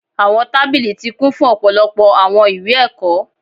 Awọn tabili ti kun fun ọpọlọpọ awọn iwe-ẹkọ